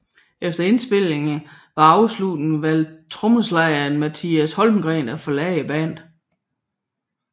Efter indspilningerne var afsluttet valgte trommeslageren Mattias Holmgren at forlade bandet